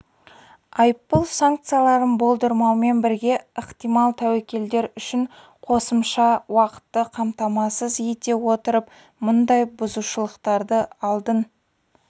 айыппұл санкцияларын болдырмаумен бірге ықтимал тәуекелдер үшін қосымша уақытты қамтамасыз ете отырып мұндай бұзушылықтарды алдын